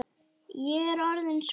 Ég er orðin svo gömul.